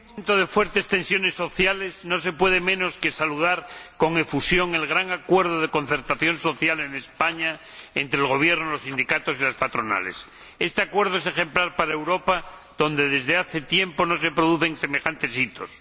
Señor Presidente, en un momento de fuertes tensiones sociales no se puede menos que saludar con efusión el gran acuerdo de concertación social en España entre el Gobierno, los sindicatos y las patronales. Este acuerdo es ejemplar para Europa donde, desde hace tiempo, no se producen semejantes hitos.